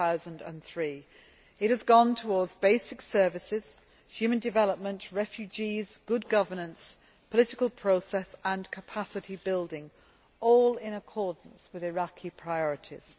2003. It has gone towards basic services, human development, refugees, good governance, political process and capacity building all in accordance with Iraqi priorities.